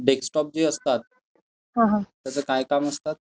Desktop जे असतात, त्याचं काय काम असतं?